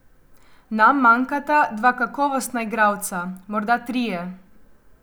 Nam manjkata dva kakovostna igralca, morda trije.